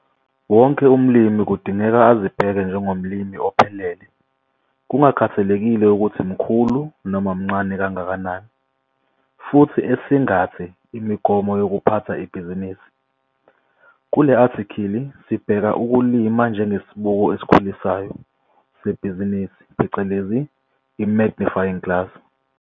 WONKE UMLIMI KUDINGEKA AZIBHEKE NJENGOMLIMI OPHELELE KUNGAKHATHALEKILE UKUTHI MKHULU NOMA MNCANE KANGAKANANI - FUTHI ESINGATHE IMIGOMO YOKUPHATHWA IBHIZINISI. KULE ATHIKHILI SIBHEKA UKULIMA NJENGESIBUKO ESIKHULISAYO SEBHIZINISI PHECELEZI I-MAGNIFYING GLASS.